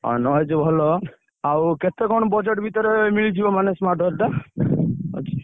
ଆଁ Noise ଭଲ। ଆଉ କେତେ କଣ budget ଭିତରେ ମିଳିଯିବ ମାନେ smartwatch ଟା?